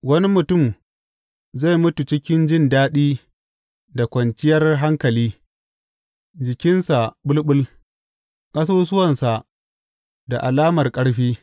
Wani mutum zai mutu cikin jin daɗi da kwanciyar hankali, jikinsa ɓulɓul, ƙasusuwansa da alamar ƙarfi.